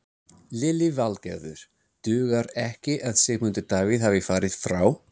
Lillý Valgerður: Dugar ekki að Sigmundur Davíð hafi farið frá?